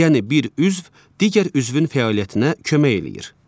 Yəni bir üzv digər üzvün fəaliyyətinə kömək eləyir.